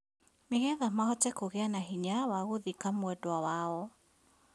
Nĩgetha mahote kũgia na hinya wa gũthika mwenda wao